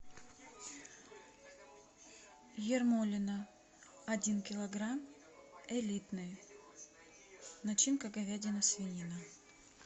ермолино один килограмм элитные начинка говядина свинина